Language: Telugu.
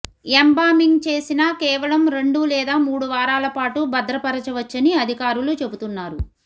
ఎంబామింగ్ చేసినా కేవలం రెండు లేదా మూడు వారాల పాటు భద్రపరచవచ్చని అధికారులు చెబుతున్నారు